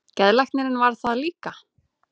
Geðlæknirinn varð það líka.